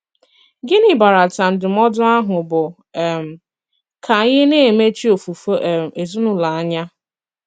Gịnị̀ bàràtà ndụm̀ọ̀dụ àhụ̀ bụ́ um kà ànyị̀ na-emechì òfùfè um èzìnùlò ànyà?